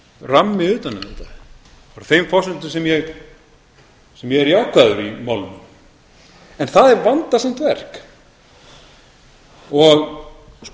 rammi utan um þetta það er á þeim forsendum sem ég er jákvæður í málinu en það er vandasamt verk og